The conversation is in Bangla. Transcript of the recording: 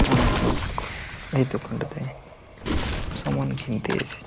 অনেক লোক এই দোকানটাতে সমান কিনতে এসেছে ।